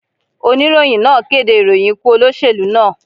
Oníròyìn náà kéde ìròyìn ikú olóṣèlú náà.